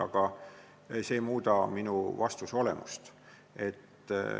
Aga see ei muuda minu vastuse olemust.